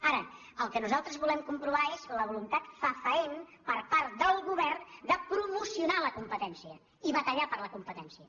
ara el que nosaltres volem comprovar és la voluntat fe·faent per part del govern de promocionar la competèn·cia i batallar per la competència